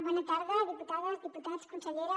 bona tarda diputades diputats consellera